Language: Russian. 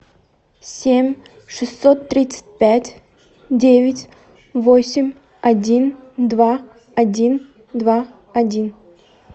семь шестьсот тридцать пять девять восемь один два один два один